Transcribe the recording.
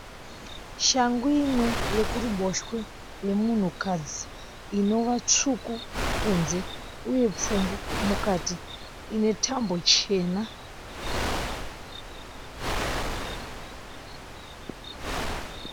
Shangu imwe yekuruboshwe yemunhu kadzi inova tsvuku kunze uye pfumbu mukati inetambo chena.